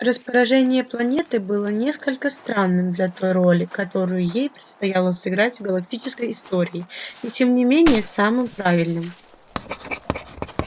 расположение планеты было несколько странным для той роли которую ей предстояло сыграть в галактической истории и тем не менее самым правильным